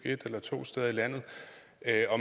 et eller to steder i landet